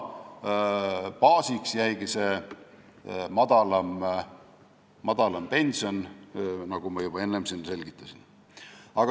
Baasiks jäigi see madalam pension, nagu ma juba enne selgitasin.